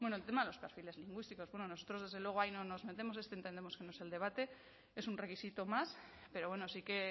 el tema de los perfiles lingüísticos bueno nosotros desde luego ahí no nos metemos este entendemos que no es el debate es un requisito más pero bueno sí que